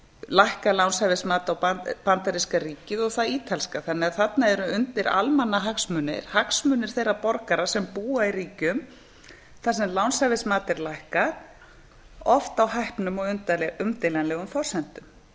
lækkað lánshæfismat á bandaríska ríkið og það ítalska þannig að þarna eru undir almannahagsmunir hagsmunir þeirra borgara sem búa í ríkjum þar sem lánshæfismat er lækkað oft á hæpnum og umdeilanlegum forsendum